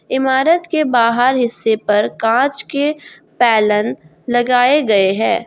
इमारत के बाहर हिस्से पर कांच के पैलन लगाए गए हैं।